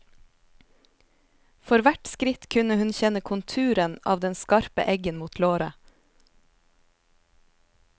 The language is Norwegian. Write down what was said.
For hvert skritt kunne hun kjenne konturen av den skarpe eggen mot låret.